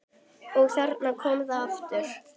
Og þarna kom það aftur!